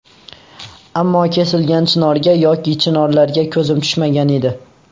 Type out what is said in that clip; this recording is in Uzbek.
Ammo kesilgan chinorga yoki chinorlarga ko‘zim tushmagan edi.